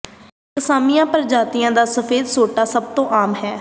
ਕਸਾਈਸੀਮੀਆ ਪ੍ਰਜਾਤੀਆਂ ਦਾ ਸਫੇਦ ਸਪੋਟਾ ਸਭ ਤੋਂ ਆਮ ਹੈ